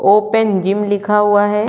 Open game लिखा हुआ हैं।